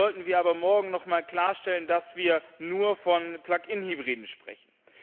Hier sollten wir aber morgen noch mal klarstellen, dass wir nur von Plug in Hybriden sprechen.